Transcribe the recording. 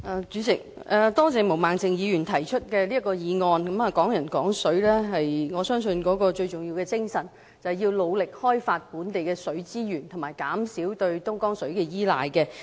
代理主席，多謝毛孟靜議員提出這項議案，我相信"港人港水"的最重要精神是，要努力開發本地的水資源和減少對東江水的依賴。